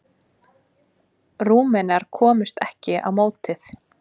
Rúmenar komust ekki á mótið.